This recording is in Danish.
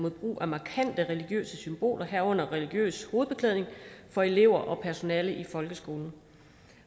mod brug af markante religiøse symboler herunder religiøs hovedbeklædning for elever og personale i folkeskolen